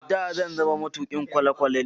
da zan zama matukin kwale kwalene